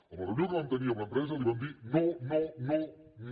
en la reunió que vam tenir amb l’empresa li vam dir no no no